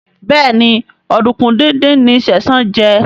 Béèni Oduku dín dín ní Sesan jé.